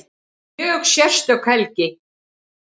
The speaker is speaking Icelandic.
Mjög sérstök helgi